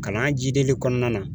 Kalan jideli kɔnɔna na